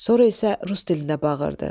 Sonra isə rus dilində bağırdı.